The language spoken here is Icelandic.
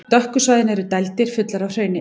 Dökku svæðin eru dældir, fullar af hrauni.